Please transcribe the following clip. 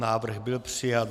Návrh byl přijat.